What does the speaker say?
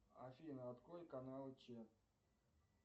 афина открой канал че